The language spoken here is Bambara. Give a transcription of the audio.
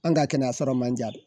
An ka kɛnɛyaso man diya de